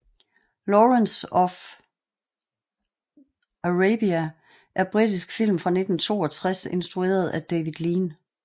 Lawrence af Arabien er britisk film fra 1962 instrueret af David Lean